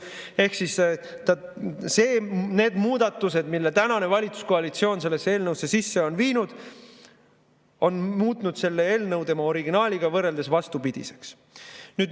Ehk siis need muudatused, mille tänane valitsuskoalitsioon sellesse eelnõusse sisse viinud, on muutnud selle eelnõu tema originaaliga võrreldes vastupidiseks.